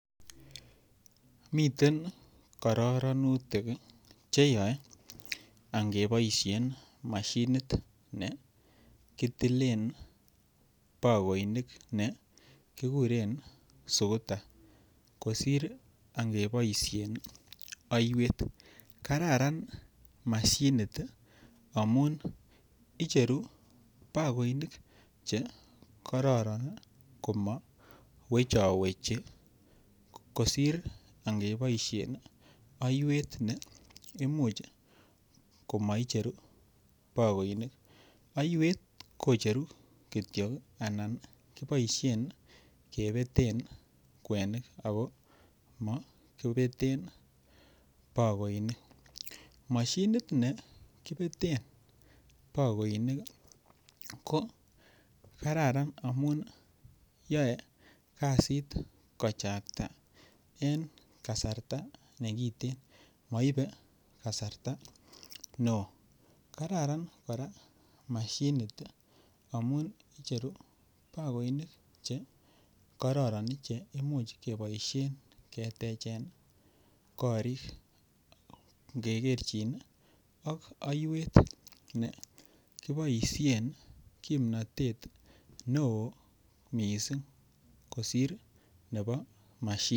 Miten kororonutik ii cheyoe angeboishen mashinet ne kitilen bakoinik ne kiguren sukuta kosir ange boishen oiwet. Kararan mashinit amun icheru bakoinik che kororon ii komo wecho wechi kosir ange boishen oiwet ne imuch komo icheru bakoinik. Oiwet kocheru kityo ii anan koboishen kebeten kwenik ako mokibeten bakoinik. Moshinit be kibeten bakoinik ii ko Kararan amun yoe kazit kochakta en kasarta ne kiten, moibe kasarta ne oo. Kararan kora moshinit ii amun icheru bakoinik che kororon che imuch keboishen ketechen korik nge kerchin ii ak oiwet ne kiboishen kimnotet ne oo missing kosir nebo moshinit